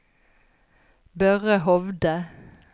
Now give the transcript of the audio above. Børre Hovde